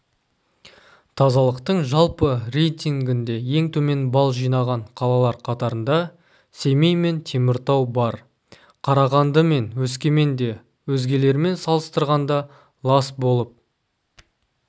тазалықтың жалпы рейтингінде ең төмен балл жинаған қалалар қатарында семей мен теміртау бар қарағанды мен өскемен де өзгелермен салыстырғанда лас болып